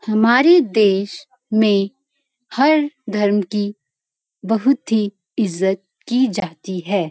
हमारे देश में हर धर्म की बहुत ही इज्‍जत की जाती है।